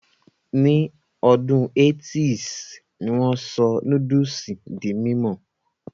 Ní ọdún 80's ni wón sọ núdùsì di mímọ̀